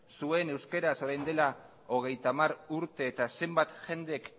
zuen euskaraz orain dela hogeita hamar urte eta zenbat jendek